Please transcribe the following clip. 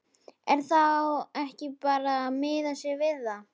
Er þá ekki bara að miða sig við það?